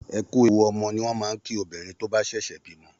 Ẹ kú ewu ọmọ ni wọ́n máa ń kí obìnrin tó bá ṣẹ̀ṣẹ̀ bímọ.